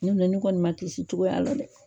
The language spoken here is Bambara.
Ne filɛ ne kɔni ma kisi cogoya la dɛ.